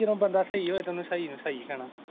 ਜਦੋਂ ਬੰਦਾ ਸਹੀ ਹੋਏ ਤੇ ਉਹਨੂੰ ਸਹੀ ਨੂੰ ਸਹੀ ਕਹਿਣਾ।